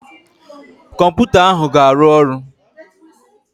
Kọmputa ahụ ga-arụ ọrụ